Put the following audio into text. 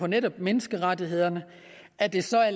netop menneskerettighederne at det så er